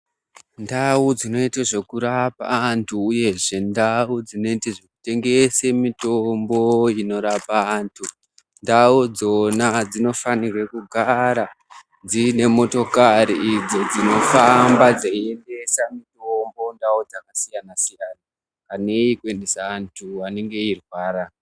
Ndao dzinoite zvekurapa antu uyezve ndao dzinotengese mitombo yeshe inorapa antu ndao idzona dzinofanirwe kugara dziine motokari idzo dzinofamba zeiendesa mitombo kundao dzakasiyana siyana neyekuendesa antu anenga eirwara.